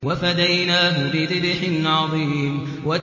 وَفَدَيْنَاهُ بِذِبْحٍ عَظِيمٍ